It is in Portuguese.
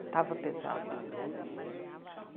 Estava pesado.